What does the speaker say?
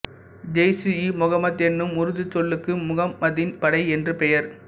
ஜெய்ஷ்இமுகம்மது எனும் உருதுச் சொல்லுக்கு முகம்மதின் படை என்று பெயர்